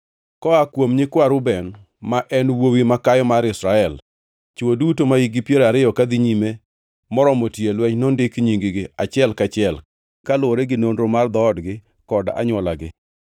Koa kuom nyikwa Reuben ma en wuowi makayo mar Israel: Chwo duto mahikgi piero ariyo kadhi nyime moromo tiyo e lweny nondik nying-gi, achiel ka achiel, kaluwore gi nonro mar dhoodgi kod anywolagi.